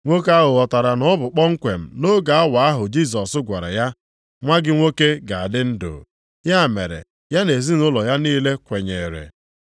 Nwoke ahụ ghọtara na ọ bụ kpomkwem nʼoge awa ahụ Jisọs gwara ya, “Nwa gị nwoke ga-adị ndụ.” Ya mere ya na ezinaụlọ ya niile kwenyere.